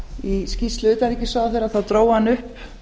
í skýrslu utanríkisráðherra dró hann upp